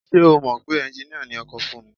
Ṣé o mọ̀ pé ẹnjiníà ni ọkọ Fúnmi?